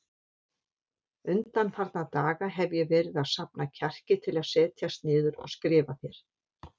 Undanfarna daga hef ég verið að safna kjarki til að setjast niður og skrifa þér.